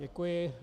Děkuji.